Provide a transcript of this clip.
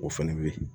O fɛnɛ bɛ ye